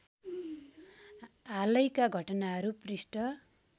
हालैका घटनाहरू पृष्ठ